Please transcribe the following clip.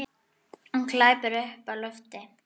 Hún glápir upp í loftið.